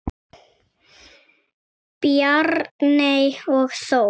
Bjarney og Þór.